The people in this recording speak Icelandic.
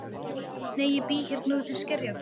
Nei, ég bý hérna úti í Skerjafirði.